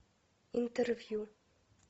интервью